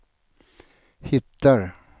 hittar